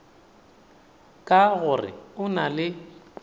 ka gore o na le